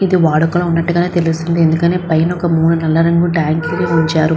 ఇది వాడుకలో ఉన్నట్టుగా తెలుస్తుంది. ఎందుకంటే పైన ఒక మూలన నల్ల రంగు టాంక్ లను ఉంచారు.